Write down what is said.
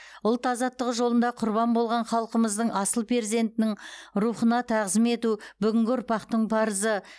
ұлт азаттығы жолында құрбан болған халқымыздың асыл перзентінің рухына тағзым ету бүгінгі ұрпақтың парызы